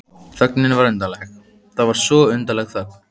Þögnin var undarleg, það var svo undarleg þögn.